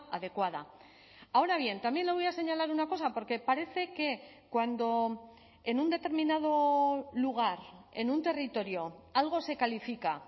adecuada ahora bien también le voy a señalar una cosa porque parece que cuando en un determinado lugar en un territorio algo se califica